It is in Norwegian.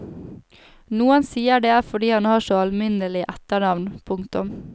Noen sier det er fordi han har så alminnelig etternavn. punktum